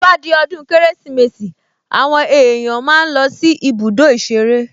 To bá di ọdún Kérésìmesì àwọn èèyàn máa ń lọ sí ibùdó ìṣeré